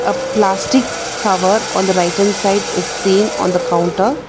A plastic cover on the right hand side is seen on the counter.